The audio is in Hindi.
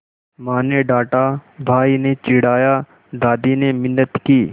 माँ ने डाँटा भाई ने चिढ़ाया दादी ने मिन्नत की